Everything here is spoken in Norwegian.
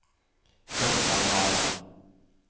grøntarealer